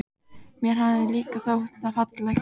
Mér hafði líka þótt það fallegt.